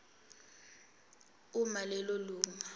uma lelo lunga